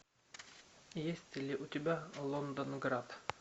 есть ли у тебя лондонград